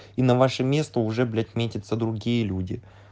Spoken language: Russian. и на ваше место уже блять метятся другие люди